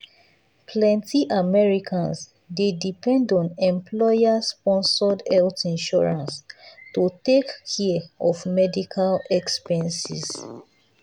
plenty americans dey depend on employer-sponsored health insurance to take care of medical expenses.